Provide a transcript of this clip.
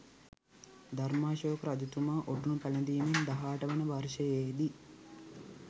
ධර්‍මාශෝක රජතුමා ඔටුනු පැළඳීමෙන් 18 වන වර්ෂයෙහිදී